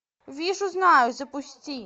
вижу знаю запусти